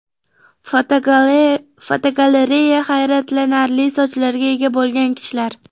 Fotogalereya: Hayratlanarli sochlarga ega bo‘lgan kishilar.